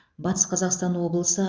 батыс қазақстан облысы